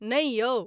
नै यौ।